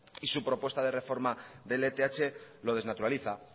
y su propuesta de reforma de lth lo desnaturaliza